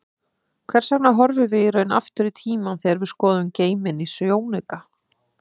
Hvers vegna horfum við í raun aftur í tímann þegar við skoðum geiminn í sjónauka?